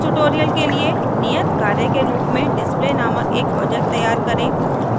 इस tutorial के लिए नियत कार्य के रूप में display नामक एक project तैयार करें